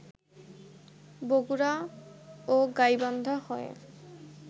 বগুড়া ও গাইবান্ধা হয়ে